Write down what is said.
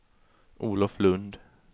Olof Lund